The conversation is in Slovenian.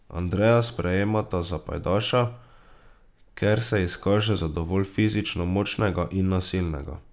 Andreja sprejmeta za pajdaša, ker se izkaže za dovolj fizično močnega in nasilnega.